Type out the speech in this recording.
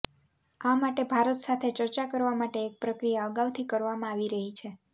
આ માટે ભારત સાથે ચર્ચા કરવા માટે એક પ્રક્રિયા અગાઉથી કરવામાં આવી રહી છે